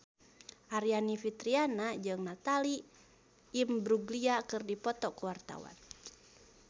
Aryani Fitriana jeung Natalie Imbruglia keur dipoto ku wartawan